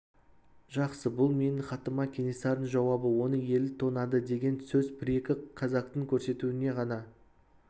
жақсы бұл не менің хатыма кенесарының жауабы оны ел тонады деген сөз бір-екі казактың көрсетуіне ғана